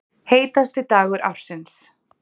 Heitasti dagur ársins